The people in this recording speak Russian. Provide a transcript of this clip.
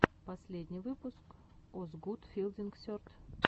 последний выпуск озгуд филдинг серд